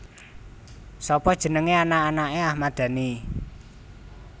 Sapa jenenge anak anake Ahmad Dhani